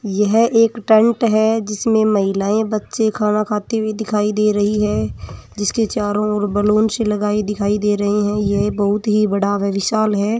यह एक टैंट है जिसमें महिलाएं बच्चे खाना खाते दिखाई दे रहे हैं जिसके चारो और बलून सी लगाई दिखाई दे रही है ये ही बहुत ही बड़ा विशाल है।